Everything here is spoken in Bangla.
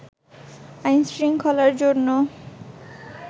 আইনশৃঙ্খলার জন্য